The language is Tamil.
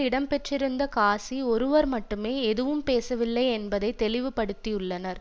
இடம் பெற்றிருந்த காசி ஒருவர் மட்டுமே எதுவும் பேசவில்லை என்பதை தெளிவு படுத்தியுள்ளனர்